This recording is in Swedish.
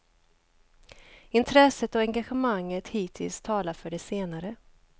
Intresset och engagemanget hittills talar för det senare.